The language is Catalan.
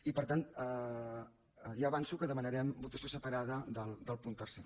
i per tant ja avanço que demanarem votació separada del punt tercer